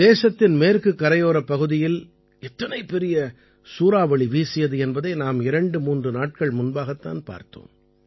தேசத்தின் மேற்குக் கரையோரப் பகுதியில் எத்தனை பெரிய சூறாவளி வீசியது என்பதை நாம் 23 நாட்கள் முன்பாகத் தான் பார்த்தோம்